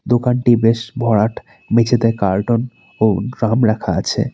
দোকানটি বেশ ভরাট মেঝেতে কার্টুন ও ড্রাম রাখা আছে।